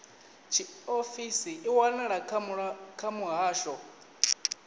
tshiofisi i wanala kha muhasho